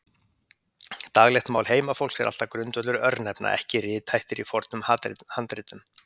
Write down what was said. Daglegt mál heimafólks er alltaf grundvöllur örnefna, ekki rithættir í fornum handritum.